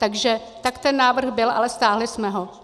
Takže tak ten návrh byl, ale stáhli jsme ho.